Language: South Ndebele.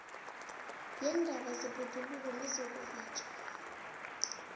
weendaba zebhoduluko nezokuvatjha